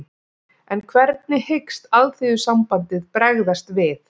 En hvernig hyggst Alþýðusambandið bregðast við?